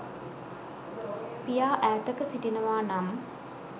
පියා ඈතක සිටිනවා නම්